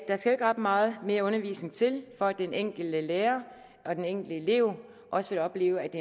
ret meget mere undervisning til for at den enkelte lærer og den enkelte elev også vil opleve at